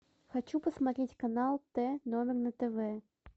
хочу посмотреть канал тномер на тв